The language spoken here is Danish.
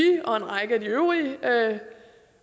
og en række af de øvrige